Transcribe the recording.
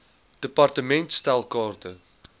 department stel kaarte